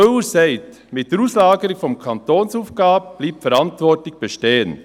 Müller sagt, mit der Auslagerung der Kantonsaufgabe bleibe die Verantwortung bestehen.